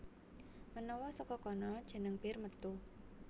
Menawa saka kono jeneng Bir metu